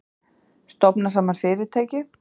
Stofna saman fyrirtæki?